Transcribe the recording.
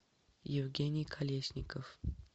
евгений колесников